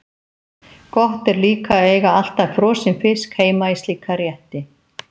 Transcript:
Gott er líka að eiga alltaf frosinn fisk heima í slíka rétti.